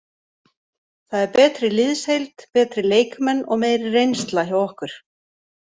Það er betri liðsheild, betri leikmenn og meiri reynsla hjá okkur.